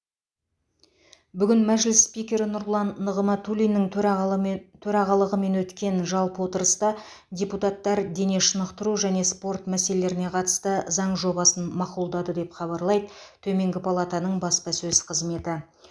бүгін мәжіліс спикері нұрлан нығматулиннің төрағалымен төрағалығымен өткен жалпы отырыста депутаттар дене шынықтыру және спорт мәселелеріне қатысты заң жобасын мақұлдады деп хабарлайды төменгі палатаның баспасөз қызметі